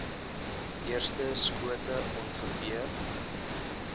eerste skote ongeveer